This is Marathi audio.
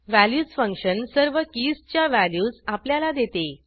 व्हॅल्यूज फंक्शन सर्व कीजच्या व्हॅल्यूज आपल्याला देते